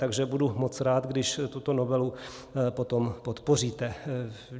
Takže budu moc rád, když tuto novelu potom podpoříte.